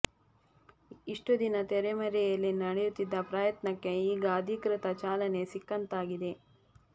ಇಷ್ಟು ದಿನ ತೆರೆ ಮರೆಯಲ್ಲಿ ನಡೆಯುತ್ತಿದ್ದ ಪ್ರಯತ್ನಕ್ಕೆ ಈಗ ಅಧಿಕೃತ ಚಾಲನೆ ಸಿಕ್ಕಂತಾಗಿದೆ